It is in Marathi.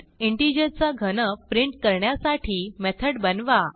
इंटिजर चा घन प्रिंट करण्यासाठी मेथड बनवा